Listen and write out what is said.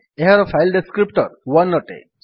ଏହାର file descriptor 1 ଅଟେ